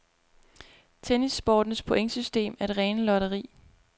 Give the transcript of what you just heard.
Tennissportens pointsystem er det rene lotteri.